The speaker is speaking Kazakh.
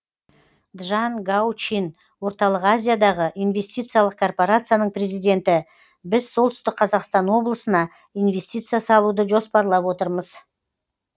джан гау чин орталық азиядағы инвестициялық корпорацияның президенті біз солтүстік қазақстан облысына инвестиция салуды жоспарлап отырмыз